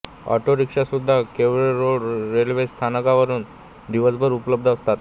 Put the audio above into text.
अॉटोरिक्शासुद्धा Kelve road railway स्थानकावरुन दिवसभर उपलब्ध असतात